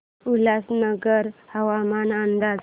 उल्हासनगर हवामान अंदाज